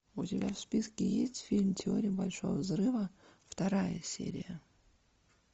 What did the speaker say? у тебя в списке есть фильм теория большого взрыва вторая серия